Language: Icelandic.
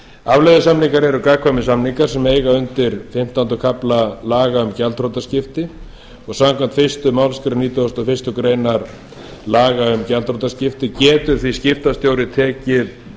afleiðusamningar eru gagnkvæmir samningar sem eiga undir fimmtánda kafla laga um gjaldþrotaskipti samkvæmt fyrstu málsgrein nítugasta og fyrstu grein laga um gjaldþrotaskipti getur því skiptastjóri tekið